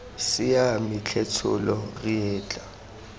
siame tlhe tsholo re etla